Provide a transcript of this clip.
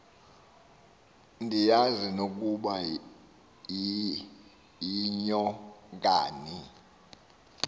ndiyazi nokuba yinyokani